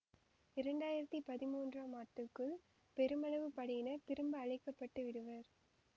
இரண்டு ஆயிரத்தி பதிமூன்றாம் ஆண்டுக்குள் பெருமளவு படையினர் திரும்ப அழைக்க பட்டு விடுவர்